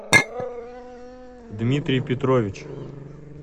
дмитрий петрович